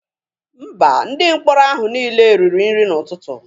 Mba, Ndị mkpọrọ ahụ niile riri nri n'ụtụtụ.